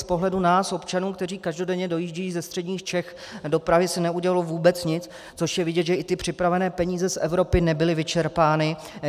Z pohledu nás, občanů, kteří každodenně dojíždějí ze středních Čech do Prahy, se neudělalo vůbec nic, což je vidět, že i ty připravené peníze z Evropy nebyly vyčerpány.